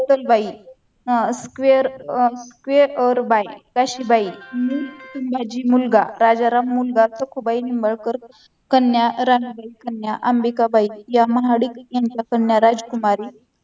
बाई अह स्केअर अह स्केअर बाय काशीबाई नि सूर्याजी मुलगा राजाराम मुलगा सखुबाई निंबाळकर कन्या रमाबाई कन्या अंबिकाबाई या महाडिक यांच्या कन्या राजकुमारी